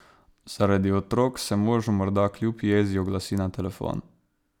Zaradi otrok se možu morda kljub jezi oglasi na telefon.